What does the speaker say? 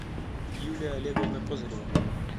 юлия олеговна козырева